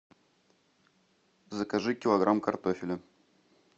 закажи килограмм картофеля